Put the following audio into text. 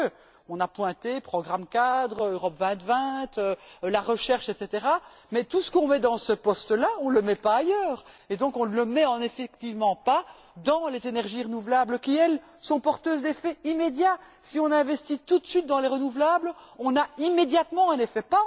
Quoique On a pointé programme cadre, Europe 2020, la recherche, etc, mais tout ce qu'on met dans ce poste là, on ne le met pas ailleurs. On ne le met donc effectivement pas dans les énergies renouvelables qui, elles, sont porteuses d'effets immédiats. Si on investit tout de suite dans les renouvelables, on a immédiatement un effet.